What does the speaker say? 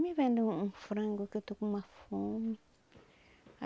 Me venda um frango que eu estou com uma fome.